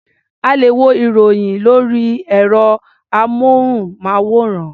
A lè wo ìròyìn lórí ẹ̀rọ-amóhùnmáwòrán.